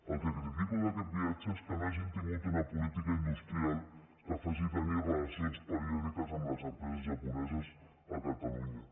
el que critico d’aquest viatge és que no hagin tingut una política industrial que faci tenir relacions periòdiques amb les empreses japoneses a catalunya